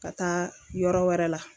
Ka taa yɔrɔ wɛrɛ la